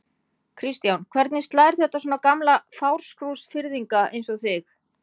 Kristján: Hvernig slær þetta svona gamla Fáskrúðsfirðinga eins og þig?